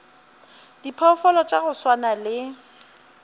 diphoofolo tša go swana le